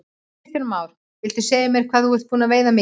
Kristján Már: Viltu segja mér hvað þú ert búinn að veiða mikið?